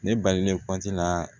Ne balilen la